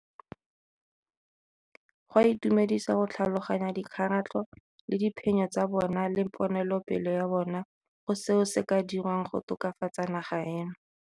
Go a itumedisa go tlhaloganya dikgaratlho le diphenyo tsa bona le ponelopele ya bona go seo se ka dirwang go tokafatsa naga eno.